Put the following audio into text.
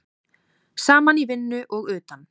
Saman í vinnu og utan.